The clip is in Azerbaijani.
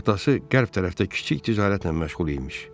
Atası qərb tərəfdə kiçik ticarətlə məşğul imiş.